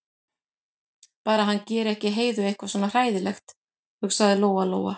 Bara að hann geri ekki Heiðu eitthvað svona hræðilegt, hugsaði Lóa-Lóa.